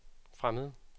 fremmede